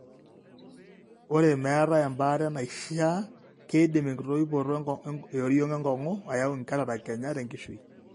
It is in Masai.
ore meetae embaare neishiaa, keidim enkitoipoto eoriong' enkong'u ayau incataract kenya tenkishui.